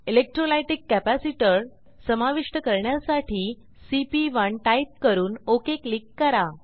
electrolytic capacitor समाविष्ट करण्यासाठी सीपी1 टाईप करून ओक क्लिक करा